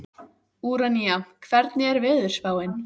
Úranía, hvernig er veðurspáin?